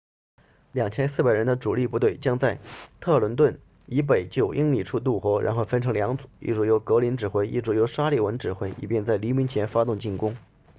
2400人的主力部队将在特伦顿 trenton 以北9英里处渡河然后分成两组一组由格林 greene 指挥一组由沙利文 sullivan 指挥以便在黎明前发动进攻